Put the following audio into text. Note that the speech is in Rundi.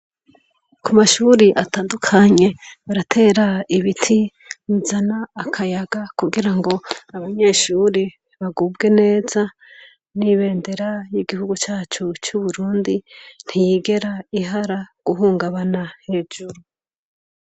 Ku mashure atandukanye, baratera ibiti bizana akayaga kugira ngo abanyeshure bagubwe neza; N'ibendera y'igihugu cacu c'Uburundi ntiyigera ihara guhungabana hejuru.